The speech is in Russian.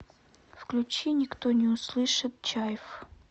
включи никто не услышит чайф